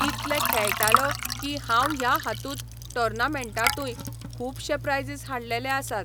इतलो खेळटालो की हांव ह्या हातूंत टॉर्नमेन्टानूय खुबशे प्रायझीस हाडलेले आसात.